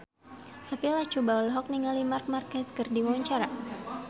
Sophia Latjuba olohok ningali Marc Marquez keur diwawancara